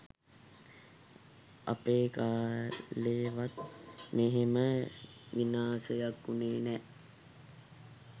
අපේ කාලෙවත් මෙහෙම විනාසයක් වුනේ නෑ